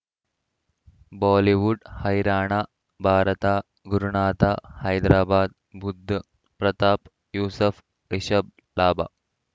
Bollywood ಹೈರಾಣ ಭಾರತ ಗುರುನಾಥ ಹೈದರಾಬಾದ್ ಬುಧ್ ಪ್ರತಾಪ್ ಯೂಸುಫ್ ರಿಷಬ್ ಲಾಭ